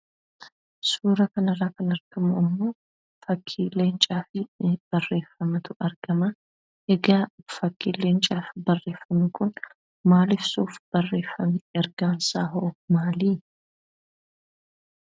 Suuraa kanarraa kan arginu immoo fakkii leencaa fi barreeffamatu argama. Egaa fakkiin leencaa fi barreeffamni kun maal ibsuuf barreeffame? Ergaansaa hoo maalii?